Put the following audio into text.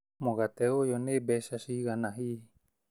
Mũgate ũyũnĩ mbeca cigana hihi?